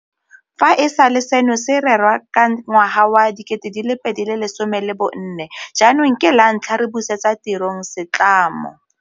Fa e sale seno se rerwa ka ngwaga wa 2014 jaanong ke lantlha re busetsa tirong se tlamo.